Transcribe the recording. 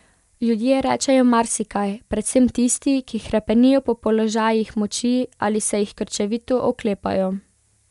Ljudje rečejo marsikaj, predvsem tisti, ki hrepenijo po položajih moči, ali se jih krčevito oklepajo.